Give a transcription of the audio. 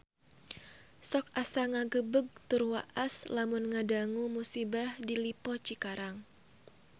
Sok asa ngagebeg tur waas lamun ngadangu musibah di Lippo Cikarang